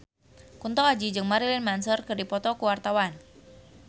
Kunto Aji jeung Marilyn Manson keur dipoto ku wartawan